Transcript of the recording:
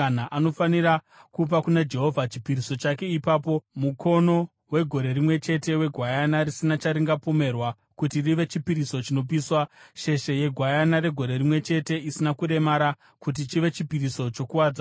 Anofanira kupa kuna Jehovha chipiriso chake ipapo: mukono wegore rimwe chete wegwayana risina charingapomerwa kuti rive chipiriso chinopiswa, sheshe yegwayana regore rimwe chete isina kuremara kuti chive chipiriso chokuwadzana,